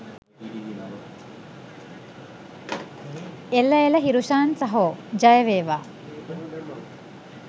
එළ එළ හිරුෂාන් සහෝ ජය වේවා